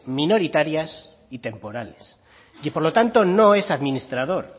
minoritarias y temporales y por lo tanto no es administrador